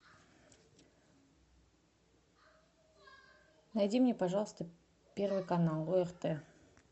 найди мне пожалуйста первый канал орт